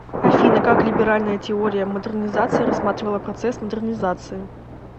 афина как либеральная теория модернизации рассматривала процесс модернизации